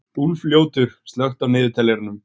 Úlfljótur, slökktu á niðurteljaranum.